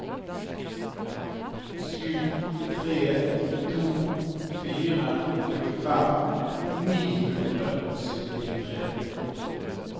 sju tre to fire tjuefem ni hundre og syttitre